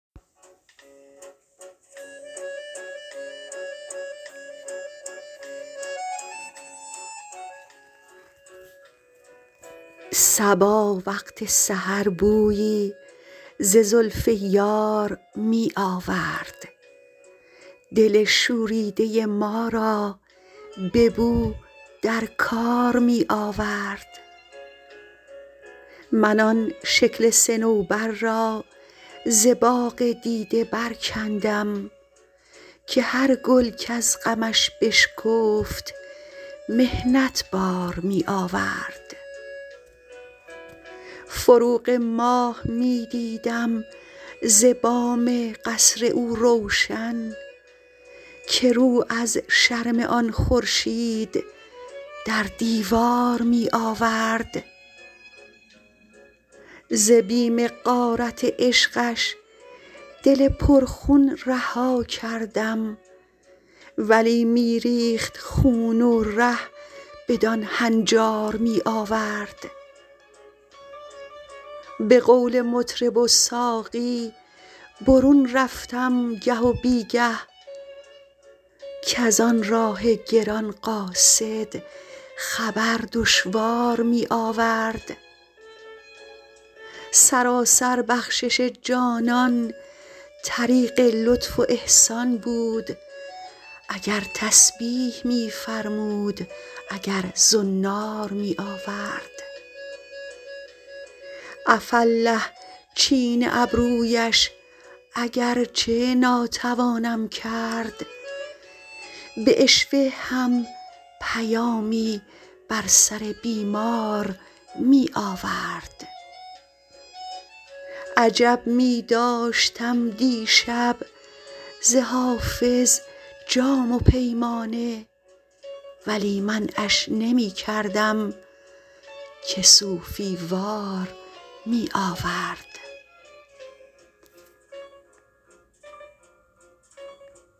صبا وقت سحر بویی ز زلف یار می آورد دل شوریده ما را به نو در کار می آورد من آن شکل صنوبر را ز باغ دیده برکندم که هر گل کز غمش بشکفت محنت بار می آورد فروغ ماه می دیدم ز بام قصر او روشن که رو از شرم آن خورشید در دیوار می آورد ز بیم غارت عشقش دل پرخون رها کردم ولی می ریخت خون و ره بدان هنجار می آورد به قول مطرب و ساقی برون رفتم گه و بی گه کز آن راه گران قاصد خبر دشوار می آورد سراسر بخشش جانان طریق لطف و احسان بود اگر تسبیح می فرمود اگر زنار می آورد عفاالله چین ابرویش اگر چه ناتوانم کرد به عشوه هم پیامی بر سر بیمار می آورد عجب می داشتم دیشب ز حافظ جام و پیمانه ولی منعش نمی کردم که صوفی وار می آورد